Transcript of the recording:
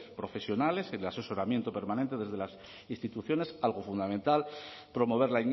profesionales el asesoramiento permanente desde las instituciones algo fundamental promover